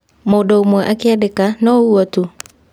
Mũndũ ũmwe akĩandĩka " no ũguo tu" ?